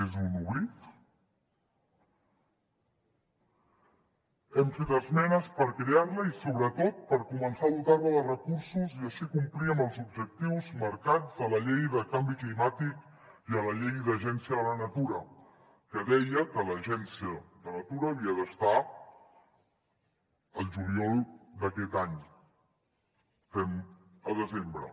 és un oblit hem fet esmenes per crear la i sobretot per començar a dotar la de recursos i així complir amb els objectius marcats a la llei de canvi climàtic i a la llei d’agència de la natura que deia que l’agència de la natura havia d’estar el juliol d’aquest any estem a desembre